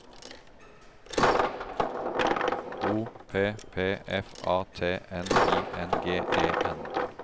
O P P F A T N I N G E N